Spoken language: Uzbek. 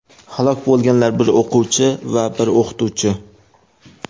Halok bo‘lganlar: bir o‘quvchi va bir o‘qituvchi.